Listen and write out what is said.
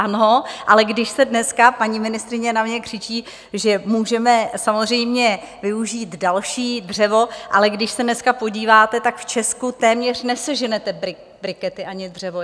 Ano, ale když se dneska - paní ministryně na mě křičí, že můžeme samozřejmě využít další dřevo, ale když se dneska podíváte, tak v Česku téměř neseženete brikety ani dřevo.